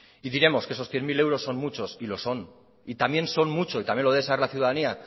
y diremos que esos cien mil euros son muchos y lo son y también son muchos y también de esa ciudadanía